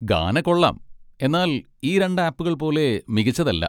ഗാന കൊള്ളാം, എന്നാൽ ഈ രണ്ട് ആപ്പുകൾ പോലെ മികച്ചതല്ല.